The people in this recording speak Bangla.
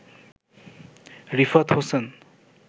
রিফাত হোসেন